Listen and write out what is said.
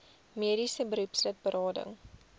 mediese beroepslid berading